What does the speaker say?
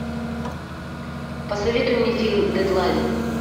посоветуй мне фильм дедлайн